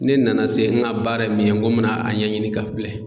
Ne nana se n ka baara ye min ye n ko n mɛna a ɲɛɲini ka filɛ.